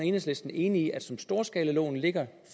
enhedslisten enige i at som storskalaloven ligger